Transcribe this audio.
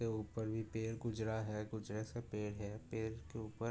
के ऊपर भी पेड़ गुजरा है। कुछ ऐसे पेड़ है। पेड़ के ऊपर --